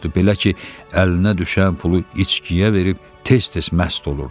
Belə ki, əlinə düşən pulu içkiyə verib tez-tez məst olurdu.